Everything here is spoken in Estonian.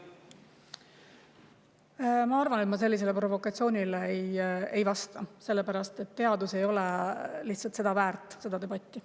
Ma arvan, et ma sellisele provokatsioonile ei vasta, sellepärast et teadus ei ole lihtsalt väärt seda debatti.